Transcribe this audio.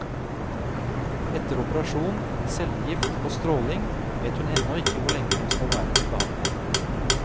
Etter operasjon, cellegift og stråling, vet hun ennå ikke hvor lenge hun skal være til behandling.